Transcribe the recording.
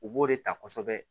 U b'o de ta kosɛbɛ